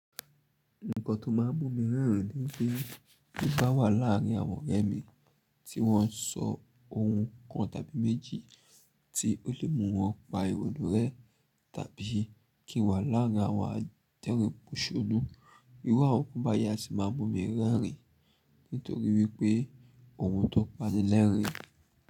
Nǹkan tó máa n mumì rerìn ni pé tí n bá wà láàrin àwọn ọ̀rẹ́ mi tí wọ́n ń sọ ohùn kan tàbí méjì tí ó lè mú wọn pa ìwọ̀nù rẹ, tàbí kí n wà láarin àwọn adẹ̀rìn pọ̀ṣọ́nú, irú àwọn nkan báyi a si máa mumì rerìn nítorí wípé ohùn tó pa ni lẹ́rìn-ín.